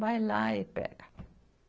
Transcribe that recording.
Vai lá e pega.